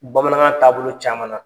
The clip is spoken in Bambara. Bamanankan taabolo caman na.